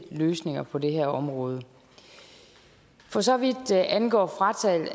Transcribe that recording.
løsninger på det her område for så vidt angår